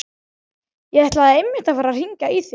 Ég ætlaði einmitt að fara að hringja í þig.